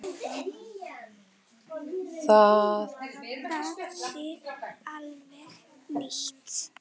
Það sé alveg nýtt.